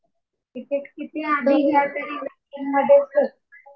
ticket किती आधी घ्यावे तरी वेटिंग मधेच